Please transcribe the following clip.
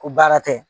Ko baara tɛ